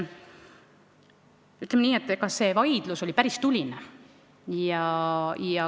Ütleme nii, et see vaidlus oli päris tuline.